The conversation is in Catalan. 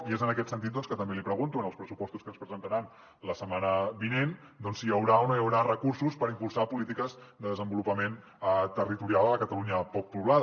i és en aquest sentit que també li pregunto en els pressupostos que ens presentaran la setmana vinent doncs si hi haurà o no hi haurà recursos per impulsar polítiques de desenvolupament territorial a la catalunya poc poblada